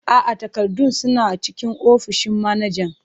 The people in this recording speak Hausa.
A'a, takardun suna cikin ofishin manajan.